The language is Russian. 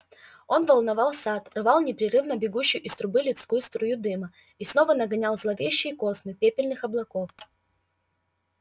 он волновал сад рвал непрерывно бегущую из трубы людской струю дыма и снова нагонял зловещие космы пепельных облаков